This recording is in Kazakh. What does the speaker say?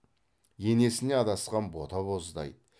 енесіне адасқан бота боздайды